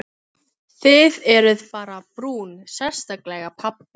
Þið eruð bara brún, sérstaklega pabbi.